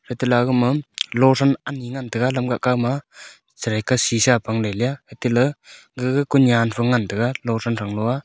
ete aga ma losan anyi ngan taiga lamga kao ma chere ke sisa pang ley lia ate ley gaga ku nyan pha ngan taiga losan tanlo a.